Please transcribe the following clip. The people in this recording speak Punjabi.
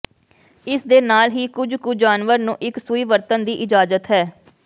ਇਸ ਦੇ ਨਾਲ ਹੀ ਕੁਝ ਕੁ ਜਾਨਵਰ ਨੂੰ ਇੱਕ ਸੂਈ ਵਰਤਣ ਦੀ ਇਜਾਜ਼ਤ ਹੈ